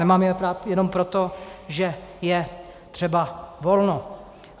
Nemám je rád jenom proto, že je třeba volno.